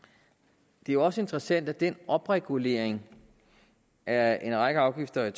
det er jo også interessant at den opregulering af en række afgifter i